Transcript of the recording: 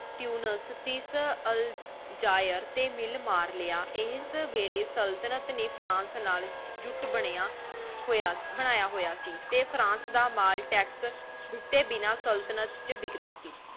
Tunis ਅਲ ਜਿਰ ਟੀ ਮਾਲ ਮਾਰ ਲਾਯਾ ਇਸ ਵੇਲੀ ਸੁਲ੍ਤ੍ਨਤ ਨੀ ਫ੍ਰਾਂਸ ਨਾਲ ਜੁਟ ਬਨਯ ਹੋਯਾ ਬਨਾਯਾ ਹੋਯਾ ਸੇ ਫ੍ਰਾਂਸ ਦਾ ਮਾਲ ਟੈਕ੍ਸ ਜਿਥਯ ਬਣਾ ਸਲ੍ਤਨਤ ਟੀ ਵਿਕਦਾ ਸੇ